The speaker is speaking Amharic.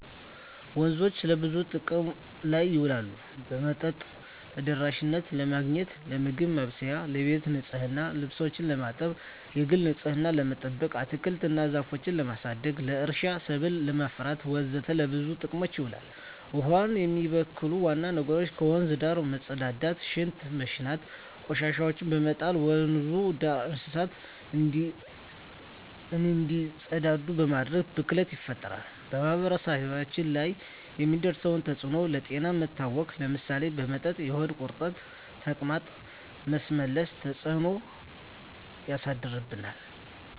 ወንዞች ለብዙ ጥቅም ላይ ይውላሉ የመጠጥ ተደራሽነትን ለማግኘት, ለምግብ ማብሰያ , ለቤት ንፅህና , ልብሶችን ለማጠብ, የግል ንፅህናችን ለመጠበቅ, አትክልቶች እና ዛፎችን ለማሳደግ, ለእርሻ ሰብል ለማፍራት ወዘተ ለብዙ ጥቅም ይውላል። ውሀውን የሚበክሉ ዋና ነገሮች ከወንዙ ዳር መፀዳዳት , ሽንት በመሽናት, ቆሻሻዎችን በመጣል, ወንዙ ዳር እንስሳቶች እንዲፀዳዱ በማድረግ ብክለት ይፈጠራል። በማህበረሰቡ ላይ የሚያደርሰው ተፅዕኖ ለጤና መታወክ ለምሳሌ በመጠጥ የሆድ ቁርጠት , ተቅማጥ, ማስመለስ ተፅዕኖች ያሳድርብናል።